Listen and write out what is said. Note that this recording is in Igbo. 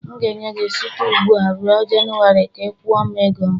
M ga-enye gị site ugbu a ruo January ka ị kwụọ m ego m.